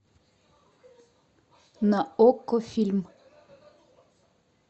на окко фильм